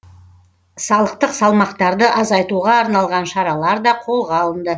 салықтық салмақтарды азайтуға арналған шаралар да қолға алынды